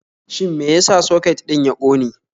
Shin me ya sa soket ɗin ya ƙone.?